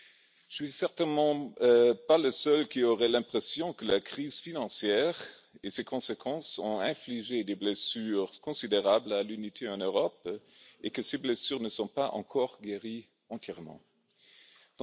Je ne suis certainement pas le seul à avoir l'impression que la crise financière et ses conséquences ont infligé des blessures considérables à l'unité de l'Europe, et que ces blessures ne sont pas encore entièrement guéries.